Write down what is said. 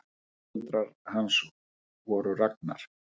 Foreldrar hans voru Ragnar